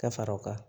Ka fara o kan